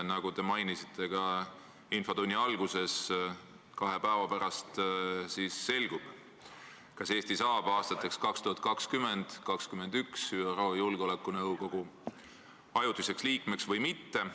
Nagu te mainisite ka infotunni alguses, kahe päeva pärast selgub, kas Eesti saab aastateks 2020–2021 ÜRO Julgeolekunõukogu ajutiseks liikmeks või mitte.